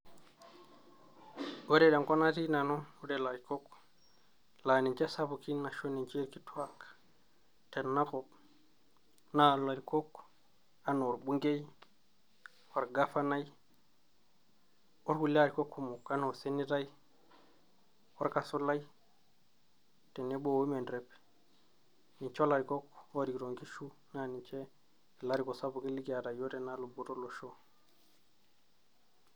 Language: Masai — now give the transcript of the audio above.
Ore tenkop natii nanu ore ilarikok laani nche isapukin ashu ninche ilkituak tenakop naa ilarikok enaa orbungei, Orgavanai, orkulie arikok kumok enaa osenetai, orkasulai, tenebo o women rep ninche ilariko oorikito inkishu naa niche ilarikok oorikito inkishu tenaluboto olosho